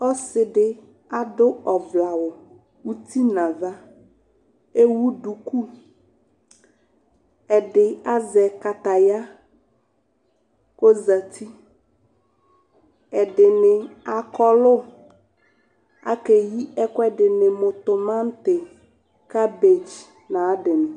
Ɔsidi adʋ ɔvlɛ awʋ uti n'ava, ewu duku, ɛdi azɛ kataya k'ozati Ɛdini akɔlʋ akeyi ɛkʋɛdini mʋ tʋmati, cabadge n'ayadi ni